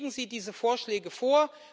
Legen Sie diese Vorschläge vor!